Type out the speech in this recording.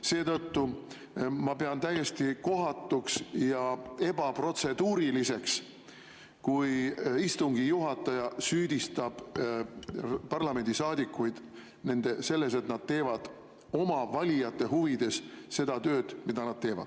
Seetõttu ma pean täiesti kohatuks ja ebaprotseduuriliseks, kui istungi juhataja süüdistab parlamendisaadikuid selles, et nad teevad oma valijate huvides seda tööd, mida nad teevad.